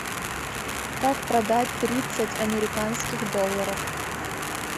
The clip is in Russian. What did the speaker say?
как продать тридцать американских долларов